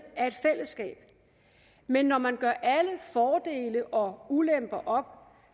af et fællesskab men når man gør alle fordele og ulemper